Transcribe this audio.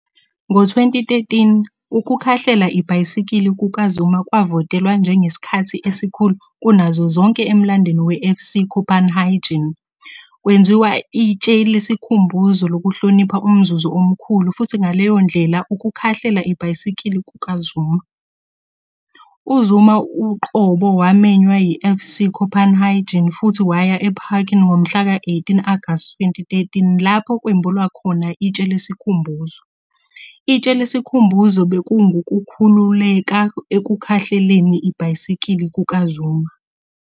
Ngo-2013, ukukhahlela ibhayisikili kukaZuma kwavotelwa njengesikhathi esikhulu kunazo zonke emlandweni weFC Copenhagen. Kwenziwa itshe lesikhumbuzo lokuhlonipha umzuzu omkhulu futhi ngaleyo ndlela ukukhahlela ibhayisikili kukaZuma. UZuma uqobo wamenywa yiFC Copenhagen futhi waya eParken ngomhlaka 18 Agasti 2013 lapho kwembulwa khona itshe lesikhumbuzo. Itshe lesikhumbuzo bekungukukhululeka ekukhahleleni ibhayisikili kukaZuma.